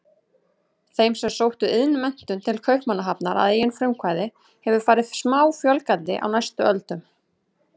Þeim sem sóttu iðnmenntun til Kaupmannahafnar að eigin frumkvæði hefur farið smáfjölgandi á næstu öldum.